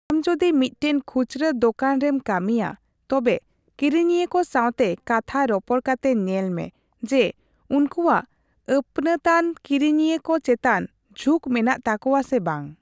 ᱟᱢ ᱡᱩᱫᱤ ᱢᱤᱫᱴᱮᱱ ᱠᱷᱩᱪᱨᱟᱹ ᱫᱳᱠᱟᱱ ᱨᱮᱢ ᱠᱟᱹᱢᱤᱭᱟ, ᱛᱚᱵᱮ ᱠᱤᱨᱤᱧᱤᱭᱟᱹ ᱠᱚ ᱥᱟᱣᱛᱮ ᱠᱟᱛᱷᱟ ᱨᱚᱯᱚᱲ ᱠᱟᱛᱮ ᱧᱮᱞᱢᱮ ᱡᱮ ᱩᱱᱠᱩᱣᱟᱜ ᱟᱹᱯᱱᱟᱹᱛᱟᱱ ᱠᱤᱨᱤᱧᱭᱟᱹ ᱠᱚ ᱪᱮᱛᱟᱱ ᱡᱷᱩᱠ ᱢᱮᱱᱟᱜ ᱛᱟᱠᱩᱣᱟ ᱥᱮ ᱵᱟᱝ ᱾